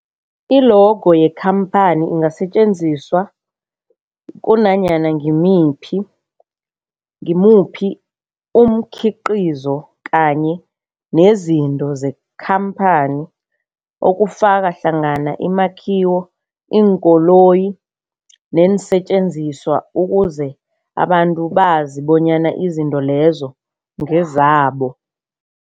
I-logo yekhamphani ingasetjenziswa kunanyana ngimiphi ngimuphi umkhiqizo kanye nezinto zekhamphani okufaka hlangana imakhiwo, iinkoloyi neensentjenziswa ukuze abantu bazi bonyana izinto lezo ngezabo.